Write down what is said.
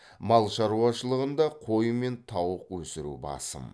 мал шаруашылығында қой мен тауық өсіру басым